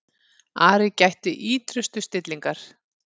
Ari gætti ýtrustu stillingar.